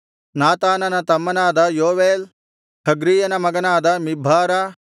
ನಾತಾನನ ತಮ್ಮನಾದ ಯೋವೇಲ್ ಹಗ್ರೀಯನ ಮಗನಾದ ಮಿಬ್ಹಾರ